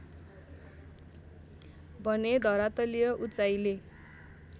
भने धरातलीय उचाइले